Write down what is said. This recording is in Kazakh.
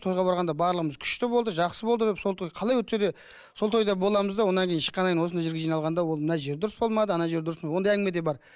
тойға барғанда барлығымыз күшті болды жақсы болды деп сол той қалай өтсе де сол тойда боламыз да одан кейін шыққаннан кейін осындай жерге жиналғанда ол мына жері дұрыс болмады ана жері дұрыс болмады ондай әңгіме де бар